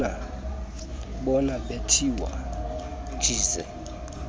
bona bethiwa jize